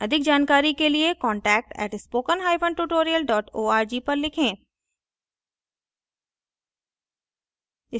अधिक जानकारी के लिए contact @spokentutorial org पर लिखें